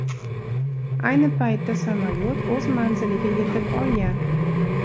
Ayni paytda samolyot o‘z manziliga yetib olgan.